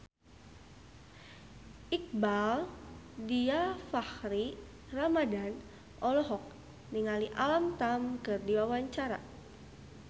Iqbaal Dhiafakhri Ramadhan olohok ningali Alam Tam keur diwawancara